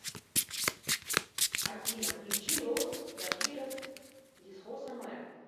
афина включи лос зафирос дисхосо мэр